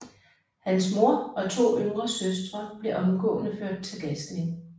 Hans mor og to yngre søstre blev omgående ført til gasning